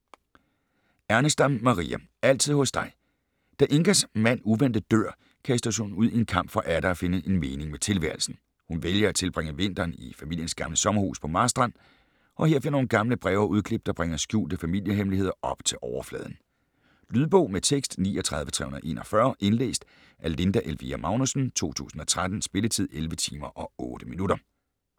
Ernestam, Maria: Altid hos dig Da Ingas mand uventet dør kastes hun ud i en kamp for atter at finde en mening med tilværelsen. Hun vælger at tilbringe vinteren i familiens gamle sommerhus på Marstrand og her finder hun gamle breve og udklip, der bringer skjulte familiehemmeligheder op til overfladen. Lydbog med tekst 39341 Indlæst af Linda Elvira Magnussen, 2013. Spilletid: 11 timer, 8 minutter.